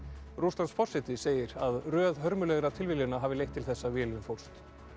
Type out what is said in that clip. Rússlandsforseti segir að röð hörmulegra tilviljana hafi leitt til þess að vélin fórst